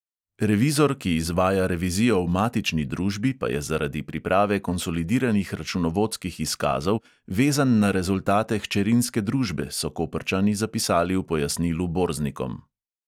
Revizor, ki izvaja revizijo v matični družbi, pa je zaradi priprave konsolidiranih računovodskih izkazov vezan na rezultate hčerinske družbe, so koprčani zapisali v pojasnilu borznikom.